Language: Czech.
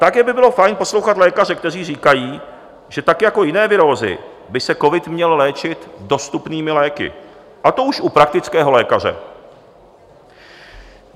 Také by bylo fajn poslouchat lékaře, kteří říkají, že tak jako jiné virózy by se covid měl léčit dostupnými léky, a to už u praktického lékaře.